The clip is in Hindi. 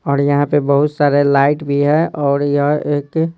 और यहाँ पे बहुत सारा लाइट भी है और यह एक--